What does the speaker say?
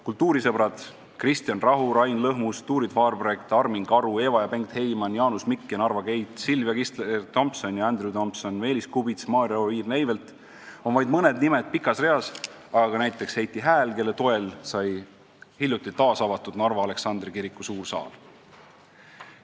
Kultuurisõbrad Kristjan Rahu, Rain Lõhmus, Turid Farbregd, Armin Karu, Eva ja Bengt Heyman, Jaanus Mikk ja Narva Gate, Sylvia Kistler-Thompson ja Andrew Thompson, Meelis Kubits, Maarja Oviir-Neivelt on vaid mõned nimed pikas reas, aga ka näiteks Heiti Hääl, kelle toel sai hiljuti taasavatud Narva Aleksandri kiriku suur saal.